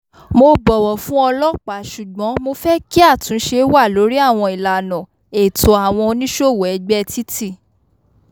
mo bọ̀wọ̀ fún ọlọ́pàá ṣùgbọ́n mo fẹ́ kí àtúnṣe wà lórí àwọn ìlànà ẹ̀tọ́ àwọn onísòwòó ẹ̀gbẹ́ títì